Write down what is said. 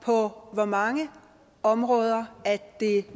på hvor mange områder det er